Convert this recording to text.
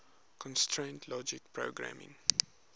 constraint logic programming